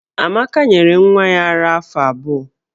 Amaka nyere nwa ya ara afọ abụọ.